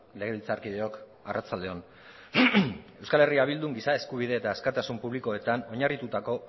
legebiltzarkideok arratsalde on euskal herria bildun giza eskubide eta askatasun publikoetan oinarrituetako